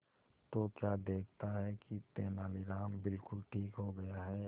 तो क्या देखता है कि तेनालीराम बिल्कुल ठीक हो गया है